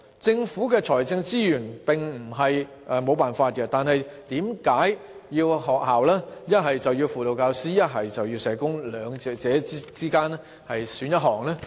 政府並非沒有財政資源可以推行這做法，為何要學校從輔導教師與社工兩者之間選擇其一？